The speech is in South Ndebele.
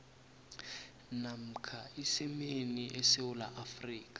namkha isimeni esewula